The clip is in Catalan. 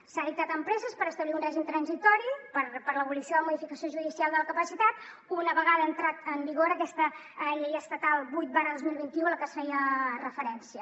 s’ha dictat amb presses per establir un règim transitori per a l’abolició de la modificació judicial de la capacitat una vegada ha entrat en vigor aquesta llei estatal vuit dos mil vint u a la que es feia referència